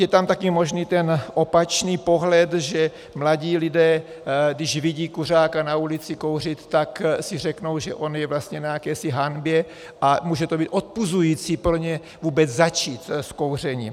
Je tam také možný ten opačný pohled, že mladí lidé, když vidí kuřáka na ulici kouřit, tak si řeknou, že on je vlastně na jakési hanbě, a může to být odpuzující pro ně vůbec začít s kouřením.